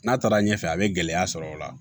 N'a taara ɲɛfɛ a be gɛlɛya sɔrɔ o la